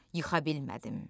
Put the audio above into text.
Yıxa bilmədim.